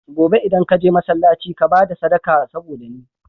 Gobe idan ka je masalaci ka bada sadaka saboda ni